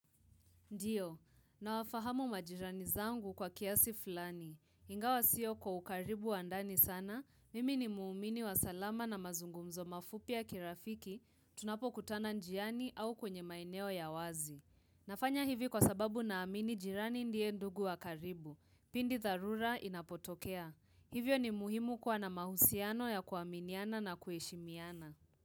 Ndiyo, nawafahamu majirani zangu kwa kiasi fulani. Ingawa sio kwa ukaribu wa ndani sana, mimi ni muumini wa salama na mazungumzo mafupi ya kirafiki, tunapo kutana njiani au kwenye maeneo ya wazi. Nafanya hivi kwa sababu naamini jirani ndiye ndugu wa karibu, pindi tharura inapotokea. Hivyo ni muhimu kuwa na mahusiano ya kuaminiana na kueshimiana.